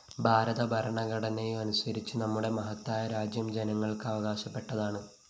ഭാരത ഭരണഘടനയനുസരിച്ച് നമ്മുടെ മഹത്തായ രാജ്യം ജനങ്ങള്‍ക്കവകാശപ്പെട്ടതാണ്